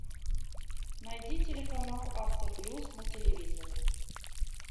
найди телеканал авто плюс на телевизоре